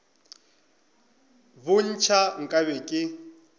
bo ntšha nka be ke